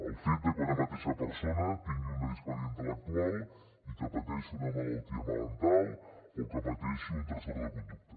el fet de que una mateixa persona tingui una discapacitat intel·lectual i que pateixi una malaltia mental o que pateixi un trastorn de conducta